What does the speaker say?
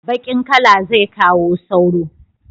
Baƙin kala zai kawo sauro